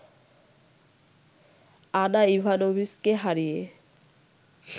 আনা ইভানোভিচকে হারিয়ে